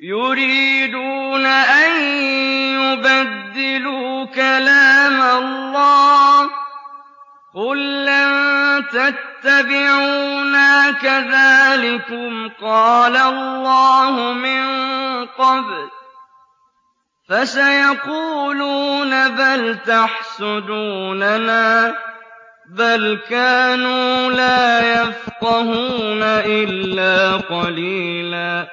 يُرِيدُونَ أَن يُبَدِّلُوا كَلَامَ اللَّهِ ۚ قُل لَّن تَتَّبِعُونَا كَذَٰلِكُمْ قَالَ اللَّهُ مِن قَبْلُ ۖ فَسَيَقُولُونَ بَلْ تَحْسُدُونَنَا ۚ بَلْ كَانُوا لَا يَفْقَهُونَ إِلَّا قَلِيلًا